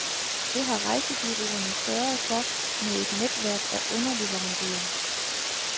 Det har rejsebureauerne sørget for med et netværk af underleverandører.